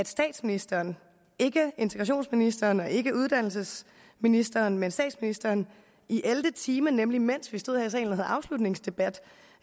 statsministeren ikke integrationsministeren og ikke uddannelsesministeren men statsministeren i ellevte time nemlig mens vi stod og havde afslutningsdebat